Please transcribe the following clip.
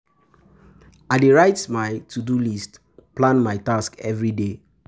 I dey write my to-do list, plan my tasks everyday.